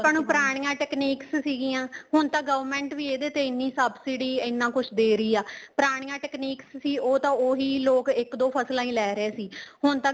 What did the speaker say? ਆਪਾਂ ਨੂੰ ਪੁਰਾਣੀਆਂ techniques ਸੀਗੀਆਂ ਹੁਣ ਤਾਂ government ਵੀ ਇਹਦੇ ਤੇ ਐਨੀਂ ਸਭਸੀਡੀ ਐਨਾਂ ਕੁੱਛ ਦੇ ਰਹੀ ਆ ਪੁਰਾਣੀਆਂ technique ਸੀ ਉਹ ਤਾਂ ਉਹੀ ਲੋਕ ਇੱਕ ਦੋ ਫਸਲਾ ਹੀ ਲੇ ਰਹੇ ਸੀ ਹੁਣ ਤਾਂ